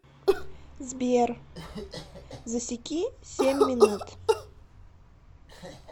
сбер засеки семь минут